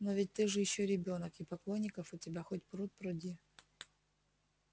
но ведь ты же ещё ребёнок и поклонников у тебя хоть пруд пруди